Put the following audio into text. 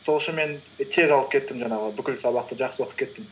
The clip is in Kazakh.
сол үшін мен і тез алып кеттім жаңағы бүкіл сабақты жақсы оқып кеттім